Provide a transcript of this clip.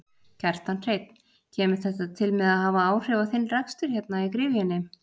Kjartan Hreinn: Kemur þetta til með að hafa áhrif á þinn rekstur hérna í gryfjunni?